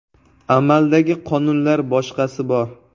Amaldagi qonunlar, boshqasi bor.